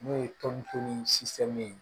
N'o ye tɔn ni ye